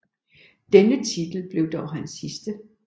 Denne titel blev dog hans sidste